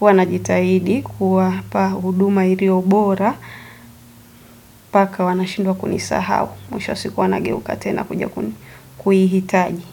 huwa najitahidi kuwapa huduma iliyo bora, mpaka wanashindwa kunisahau. Mwisho wa siku wanageuka tena kuja kuihitaji.